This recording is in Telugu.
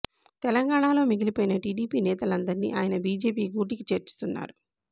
తెలంగాణలో మిగిలిపోయిన టీడీపీ నేతంలదర్నీ ఆయన బీజేపీ గూటికి చేర్చుతున్నారు